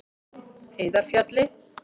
Heiðarfjalli